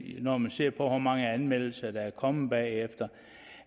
når man ser på hvor mange anmeldelser der er kommet bagefter